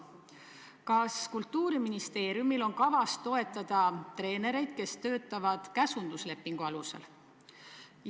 Kas Kultuuriministeeriumil on kavas toetada treenereid, kes töötavad käsunduslepingu alusel?